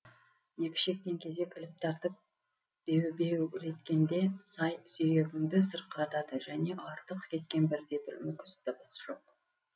екі шектен кезек іліп тартып бебеулеткенде сай сүйегіңді сырқыратады және артық кеткен бірде бір мүкіс дыбыс жоқ